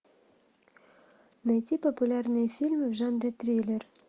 найти популярные фильмы в жанре триллер